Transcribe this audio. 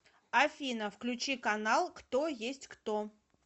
афина включи канал кто есть кто